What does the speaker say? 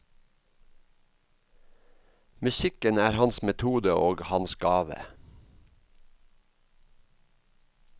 Musikken er hans metode og hans gave.